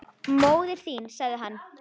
Móðir þín sagði hann.